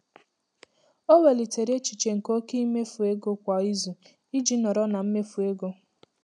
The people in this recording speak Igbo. Ọ welitere echiche nke oke mmefu ego kwa izu iji nọrọ na mmefu ego.